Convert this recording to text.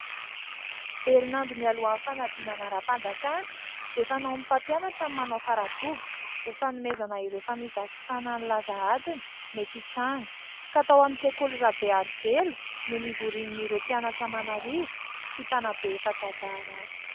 Herinandro mialohan'ny fanadinana ara-panjakana dia fanaon'ny mpampianatra ny manao fara doboka ho fanomezana ireo famisavisana ny laza adina mety hitranga ; ka tao amin'ny sekoly Rabearivelo no nivorian'ireo mpianatra aman'arivo sy mpanabe efa zatra raharaha.